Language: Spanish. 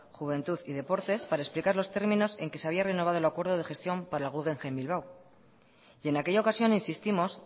juventud y deportes para explicar los términos en que se había renovado el acuerdo de gestión para el guggenheim bilbao y en aquella ocasión insistimos